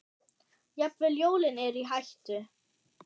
Jafnvel jólin eru í hættu.